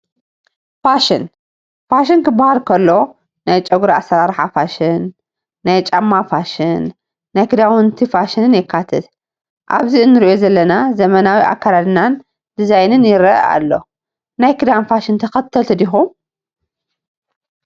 ፋሽን፡- ፋሽን ክባሃል ከሎ ናይ ጨጉሪ ኣሰራርሓ ፋሽን፣ ናይ ጫማ ፋሽን፣ ናይ ክዳውንቲ ፋሽንን የካትት፡፡ ኣብዚ ንሪኦ ዘለና ዘመናዊ ኣካደድና ዲዛይን ይረአ ኣሎ፡፡ ናይ ክዳን ፋሽን ተኸተልቲ ዲኹም?